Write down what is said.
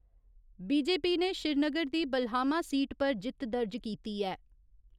BJP ने श्रीनगर दी Balhama seat पर जित्त दर्ज कीती ऐ।